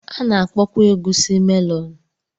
A na-akpọkwa egusi melonu.